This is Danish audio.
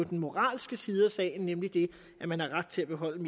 den moralske side af sagen nemlig det at man har ret til at beholde